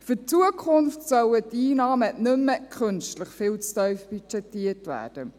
Für die Zukunft sollen die Einnahmen nicht mehr künstlich viel zu tief budgetiert werden.